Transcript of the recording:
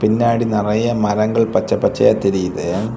பின்னாடி நறைய மரங்கள் பச்சை பச்சையா தெரியுது.